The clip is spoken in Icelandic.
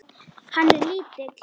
Hann er lítill.